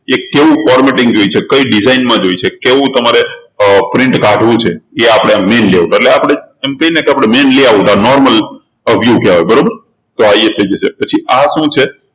એ કેવું formatting જોઈએ છે કઈ design માં જોઈએ છે કેવું તમારે અર print કાઢવું છે આ આપણે આ main layout એટલે આપણે એમ કહીએ ને કે આ main layoutnormal view કહેવાય બરોબર તો આ એ થઇ જશે પછી આ શું છે